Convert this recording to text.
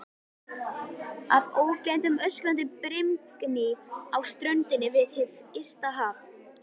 Að ógleymdum öskrandi brimgný á ströndinni við hið ysta haf.